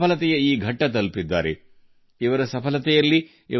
ಯಶಸ್ಸಿನ ಈ ಹಂತವನ್ನು ತಲುಪಲು ಈ ಆಟಗಾರರು ತಮ್ಮ ಜೀವನದಲ್ಲಿ ಸಾಕಷ್ಟು ಹೋರಾಟ ಮಾಡಿದ್ದಾರೆ